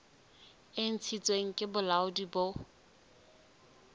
e ntshitsweng ke bolaodi bo